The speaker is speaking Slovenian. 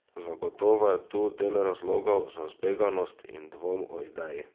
Zagotovo je tu del razlogov za zbeganost in dvom o ideji.